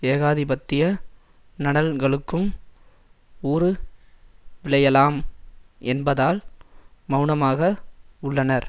ஏகாதிபத்திய நலன்களுக்கும் ஊறு விளையலாம் என்பதால் மெளனமாக உள்ளனர்